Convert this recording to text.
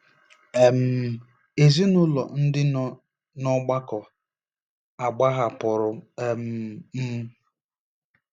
um Ezinụlọ ndị nọ n'ọgbakọ agbahapụrụ um m.